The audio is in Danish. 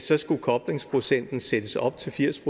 der skulle koblingsprocenten sættes op til firs